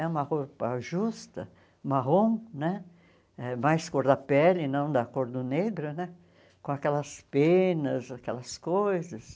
É uma roupa justa, marrom né, eh mais cor da pele, não da cor do negro né, com aquelas penas, aquelas coisas.